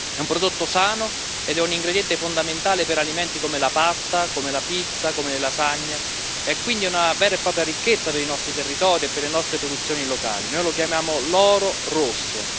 È un prodotto sano ed è un ingrediente fondamentale per alimenti come la pasta, la pizza, le lasagne, ed è quindi una vera e propria ricchezza dei nostri territori e per le nostre produzioni locali non lo chiamiamo l'oro rosso.